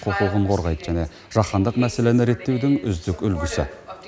құқығын қорғайды және жаһандық мәселені реттеудің үздік үлгісі